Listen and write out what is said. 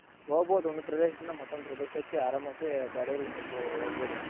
ಹೋಗ್ಬಹುದು ಒಂದ್ ಪ್ರದೇಶದಿಂದ ಮತ್ತೊಂದ್ ಪ್ರದೇಶಕ್ಕೆ ಆರಾಮಾಗಿ ಗಾಡಿಲಿ ಸ್ವಲ್ಪ ಹೋಗ್ಬಹುದು.